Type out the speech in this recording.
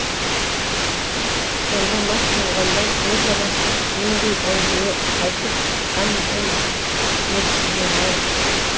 сонда мас болғандар өзара нендей әңгіме айтыпған екен дерсіздер ау